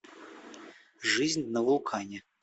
жизнь на вулкане